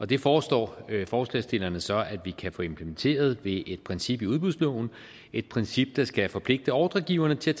det foreslår forslagsstillerne så vi kan få implementeret ved et princip i udbudsloven et princip der skal forpligte ordregiverne til